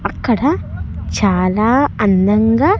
అక్కడ చాలా అందంగా.